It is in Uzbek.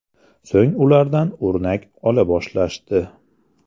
So‘ng ulardan o‘rnak ola boshlashdi.